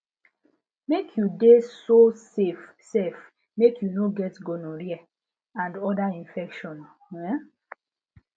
mk u de so safe sef mk u no get gonorrhea and other infections um